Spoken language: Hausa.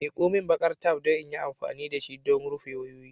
Miko min baƙar taf don in yi amfani da shi don rufe wayoyi.